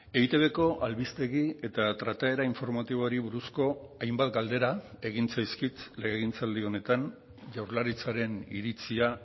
eitbko albistegi eta trataera informatiboari buruzko hainbat galdera egin zaizkit legegintzaldi honetan jaurlaritzaren iritzia